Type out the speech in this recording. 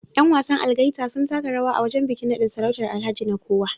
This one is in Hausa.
Yan wasan Algaita sun taka rawa a wajen bikin nadin sarautar Alhaji Nekowa